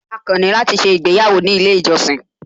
A kàn ní láti ṣé ìgbéyàwó ní ilé ìjọsìn